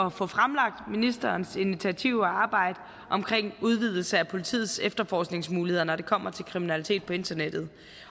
at få fremlagt ministerens initiativer og arbejde omkring udvidelse af politiets efterforskningsmuligheder når det kommer til kriminalitet på internettet